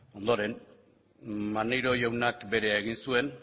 ondoren maneiro jaunak berea egin zuen